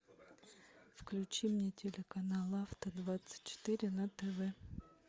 включи мне телеканал авто двадцать четыре на тв